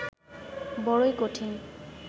বড়ই কঠিন